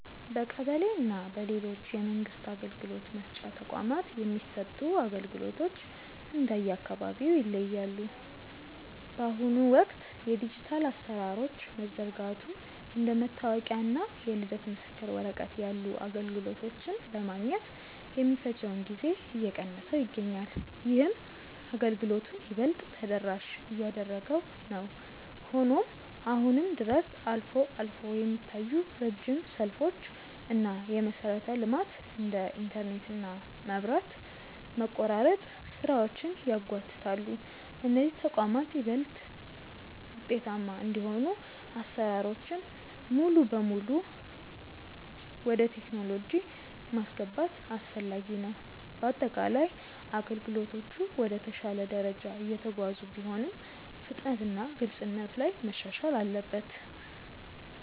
በቀበሌ እና በሌሎች የመንግስት አገልግሎት መስጫ ተቋማት የሚሰጡ አገልግሎቶች እንደየአካባቢው ይለያያሉ። በአሁኑ ወቅት የዲጂታል አሰራሮች መዘርጋቱ እንደ መታወቂያ እና የልደት ምስክር ወረቀት ያሉ አገልግሎቶችን ለማግኘት የሚፈጀውን ጊዜ እየቀነሰው ይገኛል። ይህም አገልግሎቱን ይበልጥ ተደራሽ እያደረገው ነው። ሆኖም አሁንም ድረስ አልፎ አልፎ የሚታዩ ረጅም ሰልፎች እና የመሰረተ ልማት (እንደ ኢንተርኔት እና መብራት) መቆራረጥ ስራዎችን ያጓትታሉ። እነዚህ ተቋማት ይበልጥ ውጤታማ እንዲሆኑ አሰራሮችን ሙሉ በሙሉ ወደ ቴክኖሎጂ ማስገባት አስፈላጊ ነው። በአጠቃላይ አገልግሎቶቹ ወደ ተሻለ ደረጃ እየተጓዙ ቢሆንም፣ ፍጥነትና ግልጽነት ላይ መሻሻል አለበት።